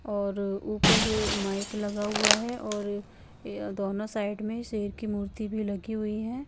और ऊपर माइक लगा हुआ है और दोंनो साइड में शेर की मूर्ति भी लगी हुई है।